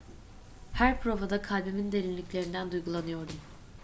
her provada kalbimin derinliklerinden duygulanıyordum